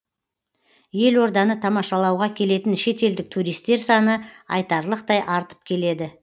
елорданы тамашалауға келетін шетелдік туристер саны айтарлықтай артып келеді